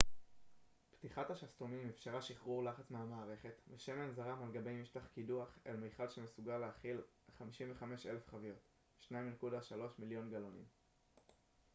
פתיחת השסתומים אפשרה שחרור לחץ מהמערכת ושמן זרם על גבי משטח קידוח אל מיכל שמסוגל להכיל 55,000 חביות 2.3 מיליון גלונים